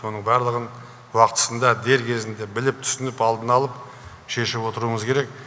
оның барлығын уақытысында дер кезінде біліп түсініп алдын алып шешіп отыруымыз керек